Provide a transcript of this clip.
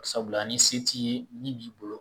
Sabula ni se t'i ye min b'i bolo